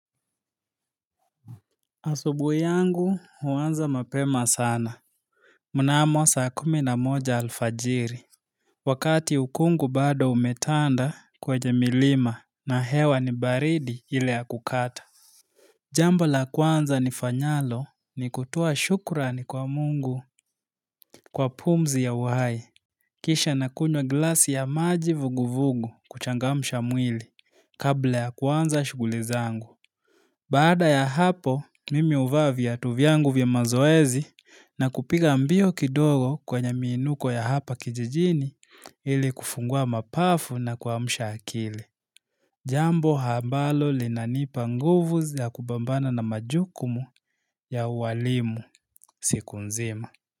Asubuhi yangu huanza mapema sana. Mnamo saa kumi na moja alfajiri. Wakati ukungu bado umetanda kwenye milima na hewa ni baridi ile ya kukata. Jambo la kwanza nifanyalo ni kutoa shukrani kwa mungu kwa pumzi ya uhai. Kisha na kunywa glasi ya maji vuguvugu kuchangamsha mwili kabla ya kuanza shughuli zangu. Baada ya hapo, mimi huvaa viatu vyangu vya mazoezi na kupiga mbio kidogo kwenye miinuko ya hapa kijijini ili kufungua mapafu na kuamsha akili. Jambo ambalo linanipa nguvu ya kupambana na majukumu ya ualimu siku nzima.